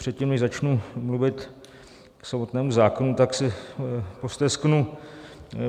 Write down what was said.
Předtím, než začnu mluvit k samotnému zákonu, tak si postesknu.